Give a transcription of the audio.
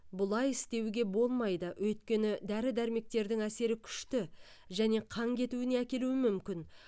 бұлай істеуге болмайды өйткені дәрі дәрмектердің әсері күшті және қан кетуіне әкелуі мүмкін